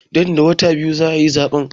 Nan da wata biyu za a yi zaɓen.